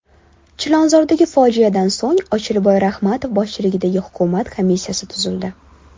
Chilonzordagi fojiadan so‘ng Ochilboy Ramatov boshchiligida hukumat komissiyasi tuzildi.